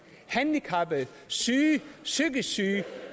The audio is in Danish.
handicappede syge psykisk syge